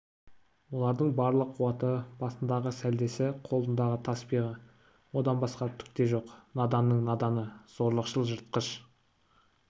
олардың барлық қуаты басындағы сәлдесі қолындағы таспиғы одан басқа түк те жоқ наданның наданы зорлықшыл жыртқыш